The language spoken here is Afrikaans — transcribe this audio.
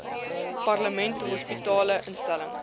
parlement hospitale instellings